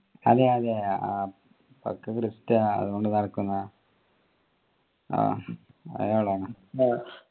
അതെ അതെ ആഹ് പക്കാ അതും കൊണ്ട് നടക്കുന്ന ആഹ് അയാളെന്നെ